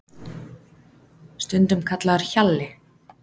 Stundum kallaður Hjalli